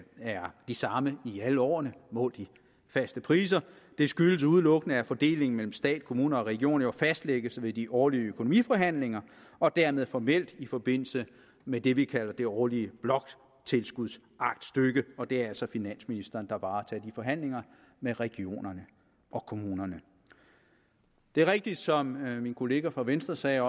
er de samme i alle årene målt i faste priser det skyldes udelukkende at fordelingen mellem stat kommuner og regioner jo fastlægges ved de årlige økonomiforhandlinger og dermed formelt i forbindelse med det vi kalder det årlige bloktilskudsaktstykke og det er altså finansministeren der varetager de forhandlinger med regionerne og kommunerne det er rigtigt som min kollega fra venstre sagde